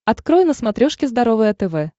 открой на смотрешке здоровое тв